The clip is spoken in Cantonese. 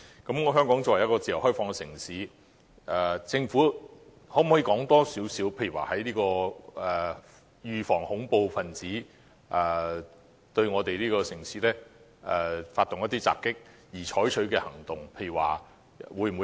鑒於香港是一個自由開放的城市，政府可否告知我們，為預防恐怖分子對香港發動襲擊而採取的行動為何？